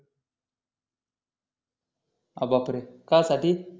अरे बापरे कशासाठी